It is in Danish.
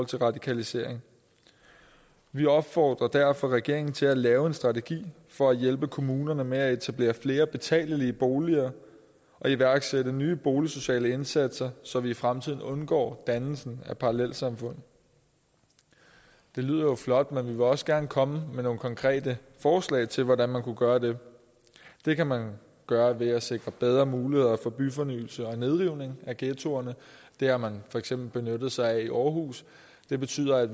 til radikalisering vi opfordrer derfor regeringen til at lave en strategi for at hjælpe kommunerne med at etablere flere betalelige boliger og iværksætte nye boligsociale indsatser så vi i fremtiden undgår dannelsen af parallelsamfund det lyder jo flot men vi vil også gerne komme med nogle konkrete forslag til hvordan man kunne gøre det det kan man gøre ved at sikre bedre muligheder for byfornyelse og nedrivning af ghettoerne det har man for eksempel benyttet sig af i aarhus det betyder at